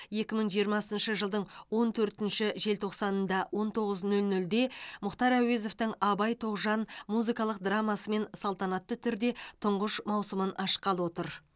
екі мың жиырмасыншы жылдың он төртінші желтоқсанында он тоғыз нөл нөлде мұхтар әуезовтің абай тоғжан музыкалық драмасымен салтанатты түрде тұңғыш маусымын ашқалы отыр